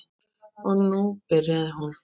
Og nú byrjaði hún.